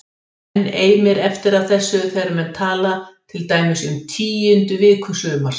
Enn eimir eftir af þessu þegar menn tala til dæmis um tíundu viku sumars